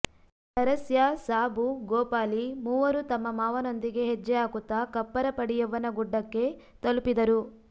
ನರಸ್ಯಾ ಸಾಬು ಗೋಪಾಲಿ ಮೂವರೂ ತಮ್ಮ ಮಾಂವನೊಂದಿಗೆ ಹೆಜ್ಜೆ ಹಾಕುತ್ತ ಕಪ್ಪರ ಪಡಿಯವ್ವನ ಗುಡ್ಡಕ್ಕೆ ತಲುಪಿದರು